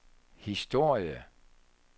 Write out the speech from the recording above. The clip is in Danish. historie